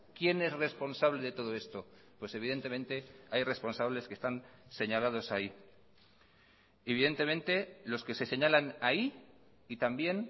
quién es responsable de todo esto pues evidentemente hay responsables que están señalados ahí y evidentemente los que se señalan ahí y también